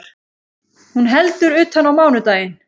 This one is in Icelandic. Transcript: Hún heldur utan á mánudaginn